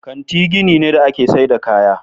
Kanti gini ne da ake saida kaya.